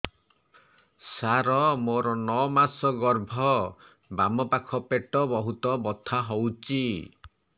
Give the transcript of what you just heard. ସାର ମୋର ନଅ ମାସ ଗର୍ଭ ବାମପାଖ ପେଟ ବହୁତ ବଥା ହଉଚି